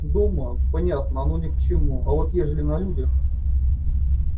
дома понятно оно ни к чему а вот ежели на людях